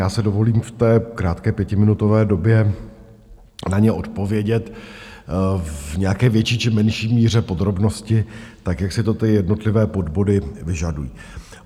Já si dovolím v té krátké pětiminutové době na ně odpovědět v nějaké větší či menší míře podrobnosti tak, jak si to ty jednotlivé body vyžadují.